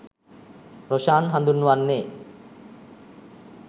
රොෂාන් හඳුන්වන්නේ.